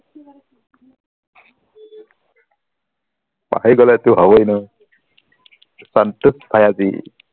পাহৰি গলেটো হবৈ ন সন্তোষ भाय़ा जी